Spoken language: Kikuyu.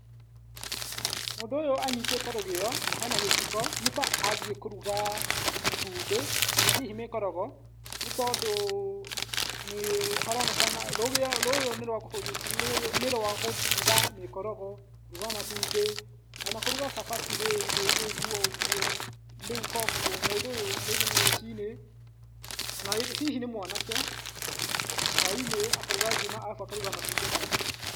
Mũndũ ũyũ anyitĩte rũgĩo na hena gĩciko , nĩta athiĩ kũruga matumbĩ kana hihi mĩkorogo, nĩ tondũ nĩ haronekana rũgĩo rũrũ nĩ rwa kũruga mĩkorogo kũruga matumbĩ , ona kũruga cabaci rĩngĩ ũgwo ũgwo, rĩu kogwo ũndũ ũyũ rĩngĩ nĩ rũcinĩ, hihi nĩ mwanake hwai-inĩ akaruga ngima arabu akaruga matumbĩ nayo.